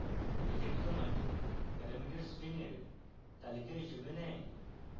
legend command parameter strings এর তালিকা হিসাবে নেয়